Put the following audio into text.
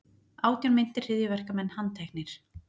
Átján meintir hryðjuverkamenn handteknir